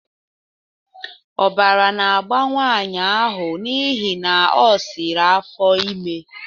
Ọbara na-agba nwanyị ahụ n'ihi na o siri afọ ime